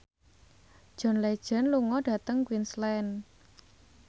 John Legend lunga dhateng Queensland